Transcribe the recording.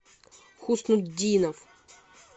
хуснутдинов